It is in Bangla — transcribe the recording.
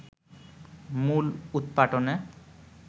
মূল উৎপাটনে